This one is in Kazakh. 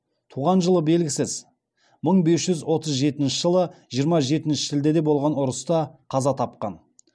туған жылы белгісіз мың бес жүз отыз жетінші жылы жиырма жетінші шілдеде болған ұрыста қаза тапқан